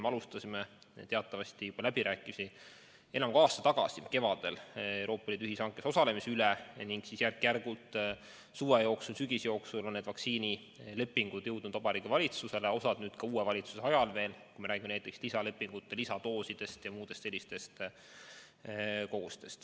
Me alustasime teatavasti läbirääkimisi enam kui aasta tagasi kevadel Euroopa Liidu ühishankes osalemise üle ning siis järk-järgult suve ja sügise jooksul on need vaktsiinilepingud jõudnud Vabariigi Valitsusse, osa neist ka uue valitsuse ajal, kui me räägime lisalepingutest, lisadoosidest ja muudest sellistest kogustest.